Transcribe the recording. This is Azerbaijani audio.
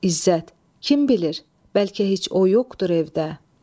İzzət: Kim bilir, bəlkə heç o yoxdur evdə.